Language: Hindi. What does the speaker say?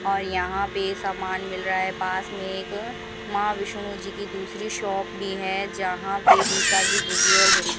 और यहां पे सामान मिल रहा है पास में एक मां विष्णु जी की दूसरी शॉप भी है जहां पे बीकाजी भुजिया और --